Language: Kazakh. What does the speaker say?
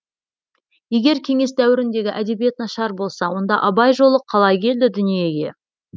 егер кеңес дәуіріндегі әдебиет нашар болса онда абай жолы қалай келді дүниеге